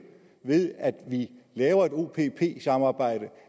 ved at vi laver et opp samarbejde